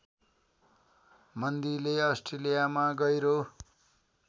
मन्दीले अस्ट्रेलियामा गहिरो